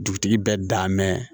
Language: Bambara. Dugutigi bɛ dan mɛn